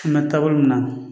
Kuma taabolo min na